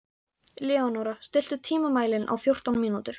Leónóra, stilltu tímamælinn á fjórtán mínútur.